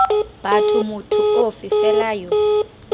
batho motho ofe fela yo